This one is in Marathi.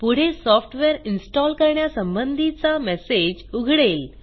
पुढे सॉफ्टवेअर इन्स्टॉल करण्यासंबंधीचा मेसेज उघडेल